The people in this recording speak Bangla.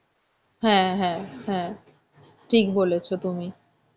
হ্যাঁ, হ্যাঁ, হ্যাঁ, ঠিক বলেছ তুমি.